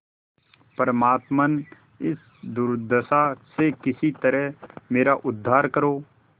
परमात्मन इस दुर्दशा से किसी तरह मेरा उद्धार करो